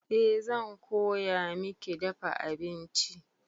Eh zan koya miki dafa abinci.